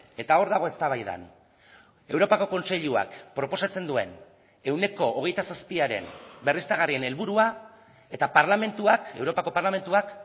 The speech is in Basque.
eta hor dago eztabaidan europako kontseiluak proposatzen duen ehuneko hogeita zazpiaren berriztagarrien helburua eta parlamentuak europako parlamentuak